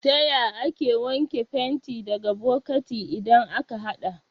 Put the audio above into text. Taya ake wanke fenti daga bokati idan aka haɗa?